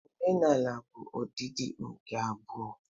Omenala bụ ọdịdị nke abụọ